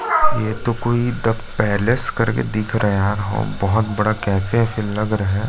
ये तो कोई द पैलेस करके दिख रहा है यार हम बहुत बड़ा कैफ़े वेफे लग रहा है ।